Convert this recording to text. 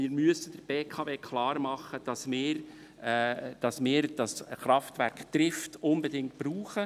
Wir müssen der BKW aber klarmachen, dass wir das Kraftwerk Trift unbedingt brauchen.